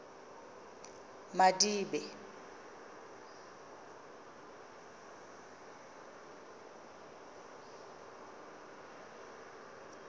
madibe